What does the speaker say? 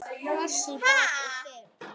Kross í bak og fyrir.